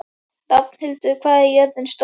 Rafnhildur, hvað er jörðin stór?